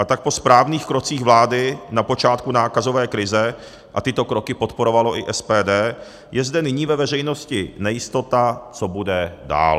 A tak po správných krocích vlády na počátku nákazové krize, a tyto kroky podporovalo i SPD, je zde nyní ve veřejnosti nejistota, co bude dál.